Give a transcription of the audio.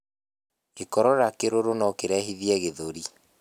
Gikorora kiruru nokirehithie gĩthũri